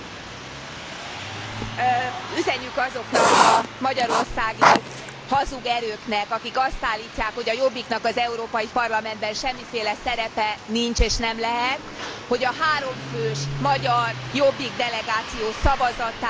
Üzenjük azoknak a magyarországi hazug erőknek, akik azt állítják, hogy a Jobbiknak az Európai Parlamentben semmiféle szerepe nincs és nem lehet, hogy a háromfős magyar Jobbik delegáció szavazatán múlott az, hogy